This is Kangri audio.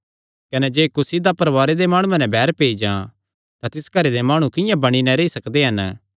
कने जे कुसी दा परवारे दे माणुआं नैं बैर पेई जां तां तिस घरे दे माणु किंआं बणी नैं रेई सकदे हन